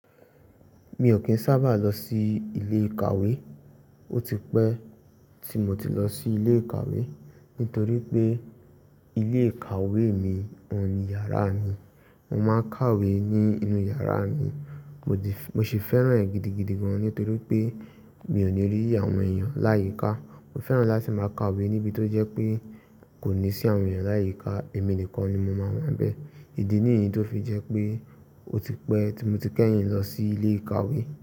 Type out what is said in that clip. Mi ò kín sábà lọ sí ilé ìkàwé. Ó ti pẹ́ tí mo ti lọ sí ilé ìkàwé nítorí pé ilé ìkàwé mi wọ́n ní yàrá mi. Mo máa ń kàwé ní inú yàrá mi. Mo sì fẹ́ràn rẹ̀ gidigidi gan nítorí pé mi ò ní rí àwọn èèyàn láyìíká. Mo fẹ́ràn láti máa kàwé níbi tó jẹ́ pé kò ní sí àwọn èèyàn láyìíká, èmi nìkan ni mo máa wà níbẹ̀. Ìdí nìyí ló fi jẹ́ pé ó ti pẹ́ tí mo ti kẹ́yìn lọ sí ilé ìkàwé.